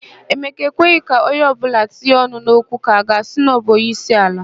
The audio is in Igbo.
Emeka ekweghị ka onye ọbụla tinye ọnụ n'okwu ka a ga-asị na ọbụ onyeisiala.